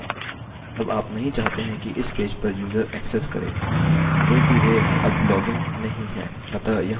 अब आप नहीं चाहते हैं कि इस पेज पर यूजर ऐक्सेस करें क्योंकि वे अब लॉगइन नहीं हैं